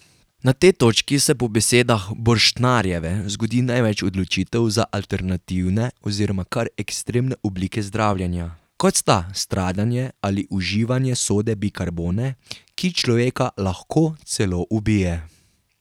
Na tej točki se po besedah Borštnarjeve zgodi največ odločitev za alternativne oziroma kar ekstremne oblike zdravljenja, kot sta stradanje ali uživanje sode bikarbone, ki človeka lahko celo ubije.